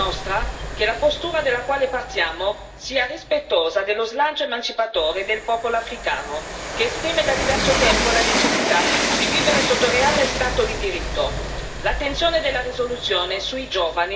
Perciò dobbiamo assicurarci da parte nostra che la postura dalla quale partiamo sia rispettosa dello slancio emancipatore del popolo africano, che esprime da diverso tempo la necessità di vivere sotto reale Stato di diritto.